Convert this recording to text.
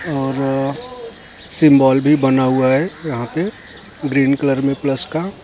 और सिंबल भी बना हुआ हैं यहाँ पे ग्रीन कलर में प्लस का --